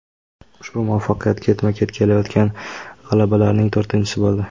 Ushbu muvaffaqiyat ketma-ket kelayotgan g‘alabalarning to‘rtinchisi bo‘ldi.